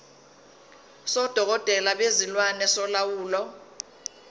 sodokotela bezilwane solawulo